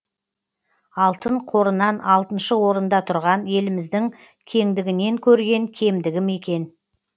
алтын қорынан алтыншы орында тұрған еліміздің кеңдігінен көрген кемдігі ме екен